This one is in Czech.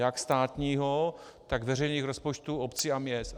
Jak státního, tak veřejných rozpočtů obcí a měst.